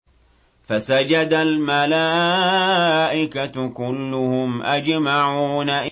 فَسَجَدَ الْمَلَائِكَةُ كُلُّهُمْ أَجْمَعُونَ